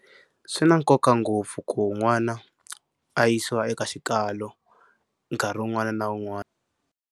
Swi na nkoka ngopfu ku n'wana a yisiwa eka xikalo nkarhi wun'wana na wun'wana.